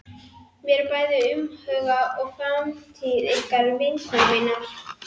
Mér er bæði umhugað um framtíð ykkar og vinkonu minnar.